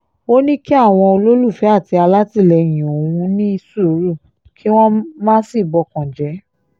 ó ní kí àwọn olólùfẹ́ àti alátìlẹyìn òun ní sùúrù kí wọ́n má sì bọkàn jẹ́